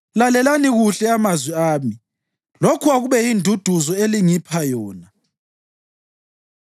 “Lalelani kuhle amazwi ami; lokhu akube yinduduzo elingipha yona.